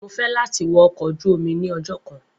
Mo fẹ lati wọ ọkọ oju omi ni ọjọ kan.